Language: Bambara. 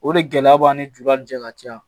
O de gɛlɛya b'an ni jula ni cɛ ka ca